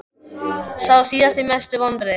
Sá síðasti Mestu vonbrigði?